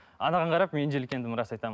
анаған қарап мен жиіркендім рас айтамын